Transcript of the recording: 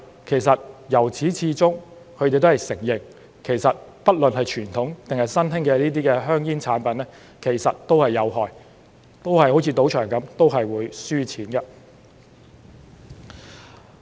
然而，由始至終他們也承認，不論是傳統還是新興的香煙產品其實都是有害的，都好像進入賭場般會輸錢的。